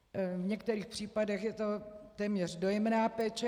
V některých případech je to téměř dojemná péče.